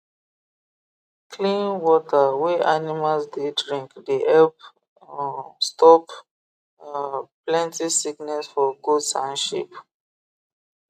um clean water wey animals dey drink dey help um stop um plenty sickness for goats and sheep